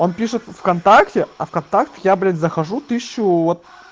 он пишет вконтакте а в контакт я блядь захожу тысячу вот